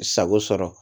Sago sɔrɔ